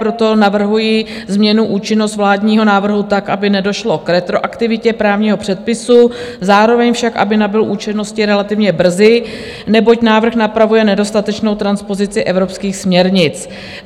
Proto navrhuji změnu účinnosti vládního návrhu tak, aby nedošlo k retroaktivitě právního předpisu, zároveň však, aby nabyl účinnosti relativně brzy, neboť návrh napravuje nedostatečnou transpozici evropských směrnic.